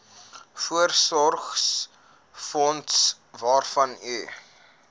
voorsorgsfonds waarvan u